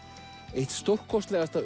eitt stórkostlegasta